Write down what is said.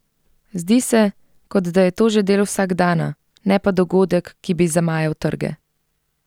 Zdi se, kot da je to že del vsakdana, ne pa dogodek, ki bi zamajal trge.